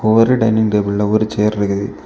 ஒரு டைனிங் டேபிள்ல ஒரு சேர் இருக்குது.